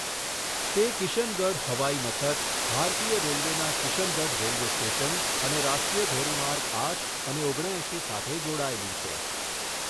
તે કિશનગઢ હવાઈમથક, ભારતીય રેલવેના કિશનગઢ રેલવે સ્ટેશન અને રાષ્ટ્રીય ધોરીમાર્ગ આઠ અને ઓગણ એંશી સાથે જોડાયેલું છે.